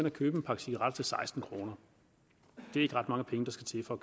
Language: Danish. og købe en pakke cigaretter til seksten kroner det er ikke ret mange penge der skal til for